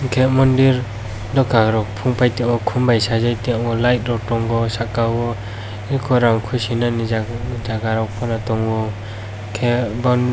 hingke mondir dokangrok pongpaitango kombai sajai tango light rok tongo saka o ekorog kuchinani jagarok pono tango hingke bound.